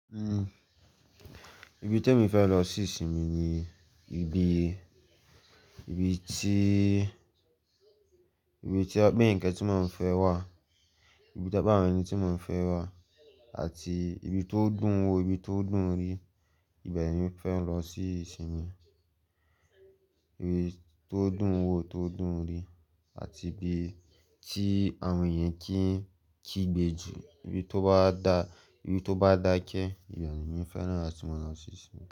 Uhm, ibi tí èmi fẹ́ lọ sí ìsinmi ni ibi, ibi tí, ibi tí ó gbé ǹkan tí mo máa ń fẹ́ wà. Ibi tí a bá àwọn ẹni tí mo máa ń fẹ́ wà àti ibi tó dùn wo, ibi tó dùn rí. Ìbẹ̀ ni èmi fẹ́ lọ sí ìsinmi. Ibi tó dùn wo, tó dùn rí àti ibi tí àwọn èèyàn kì í, kígbe jù. Ibi tó bá dá, ibi tó bá dákẹ́. Ìgbà ni èmi fẹ́ràn àti máa lọ ṣe ìsinmi.